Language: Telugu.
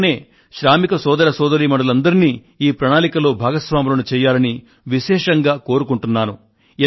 అందుకనే శ్రామిక సోదర సోదరీమణులందరినీ ఈ ప్రణాళికలో భాగస్వాములను చేయాలని విశేషంగా కోరుకుంటున్నాను